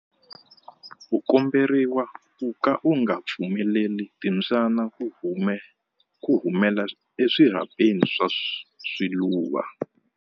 U komberiwa ku ka u nga pfumeleli timbyana ku humela eswirhapeni swa swiluva.